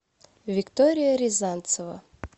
виктория рязанцева